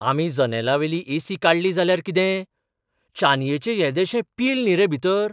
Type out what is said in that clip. आमी जनेलावेली एसी काडली जाल्यार कितें? चानयेचें येदेशें पील न्ही रे भितर!